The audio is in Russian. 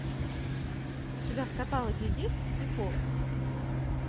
у тебя в каталоге есть дефолт